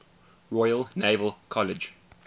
royal naval college